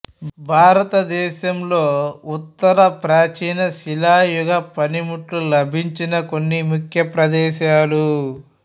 భారత దేశంలో ఉత్తర ప్రాచీన శిలాయుగ పనిముట్లు లభించిన కొన్ని ముఖ్య ప్రదేశాలు